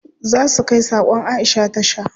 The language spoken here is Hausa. Za su kai sakon Aisha tasha.